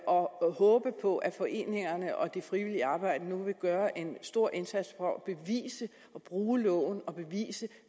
og håber på at foreningerne og det frivillige arbejde nu vil gøre en stor indsats for at bruge loven og bevise